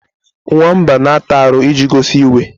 Nwamba na-ata aru iji gosi iwe.